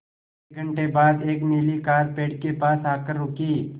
एक घण्टे बाद एक नीली कार पेड़ के पास आकर रुकी